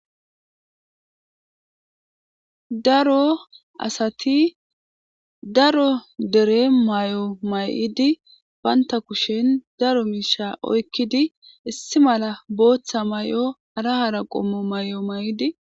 Daro asati daro dere may'o may'idi paynta kushen daro miisha oykkidi issi mala booththa may'o arahara qommo may'o may'idi.